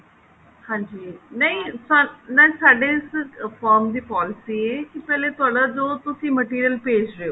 ਹਾਂਜੀ ਨਹੀਂ ਨਹੀਂ ਸਾਡੇ ਇਸ firm ਦੀ policy ਇਹ ਹੈ ਕੀ ਪਹਿਲੇ ਤੁਹਾਡਾ ਜੋ ਤੁਸੀਂ material ਭੇਜ ਰਹੇ ਹੋ